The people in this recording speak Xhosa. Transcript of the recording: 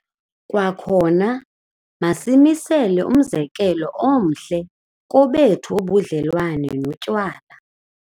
Kwakhona, masimisele umzekelo omhle kobethu ubudlelwane notywala.